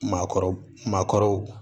Maakɔrɔ maakɔrɔw